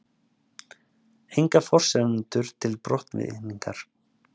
Engar forsendur til brottvikningar